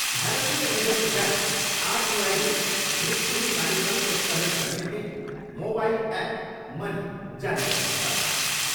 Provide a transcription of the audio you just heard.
भारतीय reserve bank आरबिआईले दृष्टिहीन मानिसहरूको सहयोगका निम्ति मोबाइल ऐप 'मनी' जारी गरेको छ।